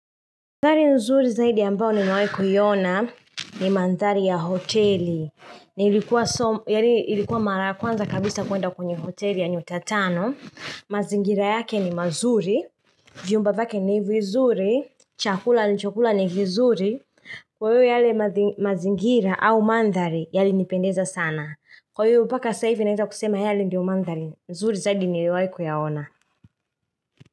Mandhari nzuri zaidi ambayo nimewahi kuiona ni mandhari ya hoteli nilikuwa mara kwanza kabisa kuenda kwenye hoteli ya nyotatano mazingira yake ni mazuri, vyumba vyake ni vizuri, chakula nilichokula ni kizuri Kwa hivyo yale mazingira au mandhari yalinipendeza sana Kwa hivyo mpaka sasa ivi naweza kusema yale ndio mandhari, nzuri zaidi niliyowaikuyaona.